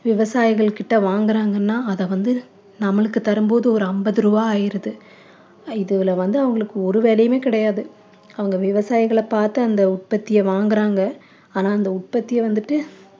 விவசாயிகள் கிட்ட வாங்குறாங்கன்னா அதை வந்து நம்மளுக்கு தரும்போது ஒரு அம்பது ரூபா ஆயிடுறது இதுல வந்து அவங்களுக்கு ஒரு வேலையுமே கிடையாது அவங்க விவசாயிகள பார்த்து அந்த உற்பத்தியை வாங்குறாங்க ஆனா அந்த உற்பத்திய வந்துட்டு